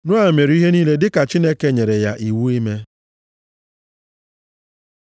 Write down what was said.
Noa mere ihe niile dịka Chineke nyere ya iwu ime.